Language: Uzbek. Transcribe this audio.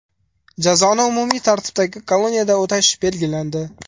Jazoni umumiy tartibdagi koloniyada o‘tash belgilandi.